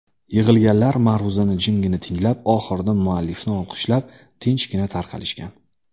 Yig‘ilganlar ma’ruzani jimgina tinglab, oxirida muallifni olqishlab, tinchgina tarqalishgan.